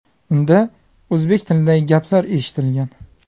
Unda o‘zbek tilidagi gaplar eshitilgan.